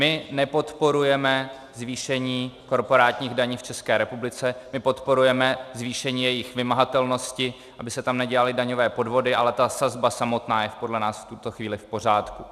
My nepodporujeme zvýšení korporátních daní v České republice, my podporujeme zvýšení jejich vymahatelnosti, aby se tam nedělaly daňové podvody, ale ta sazba samotná je podle nás v tuto chvíli v pořádku.